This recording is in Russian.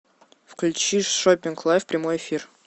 включи шоппинг лайв прямой эфир